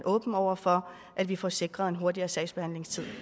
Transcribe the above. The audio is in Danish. åben over for at vi får sikret en hurtigere sagsbehandlingstid